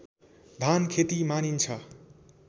धानखेती मानिन्छ